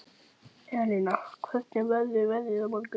Elina, hvernig verður veðrið á morgun?